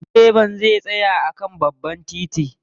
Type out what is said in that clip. Direban zai tsaya a kan babban titi.